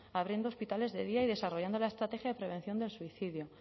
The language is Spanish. abriendo hospitales de día y desarrollando la estrategia de prevención del suicidio